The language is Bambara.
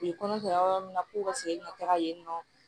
U ye kɔnɔ jɔyɔrɔ min na ko ka segin ka taga yen nɔ